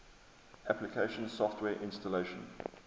application software installation